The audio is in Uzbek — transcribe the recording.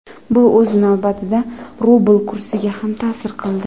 Bu o‘z navbatida rubl kursiga ham ta’sir qildi.